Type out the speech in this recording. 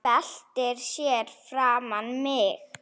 Byltir sér fyrir framan mig.